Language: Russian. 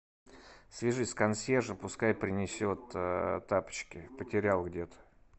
свяжись с консьержем пускай принесет тапочки потерял где то